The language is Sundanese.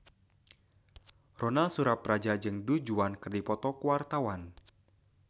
Ronal Surapradja jeung Du Juan keur dipoto ku wartawan